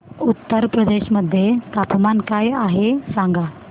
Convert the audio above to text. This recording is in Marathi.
उत्तर प्रदेश मध्ये तापमान काय आहे सांगा